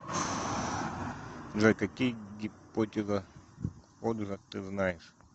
джой какие гипотеза ходжа ты знаешь